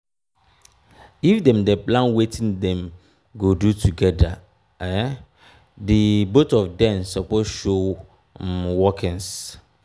if dem plan wetin dem go do together um di both of dem suppose show um workings um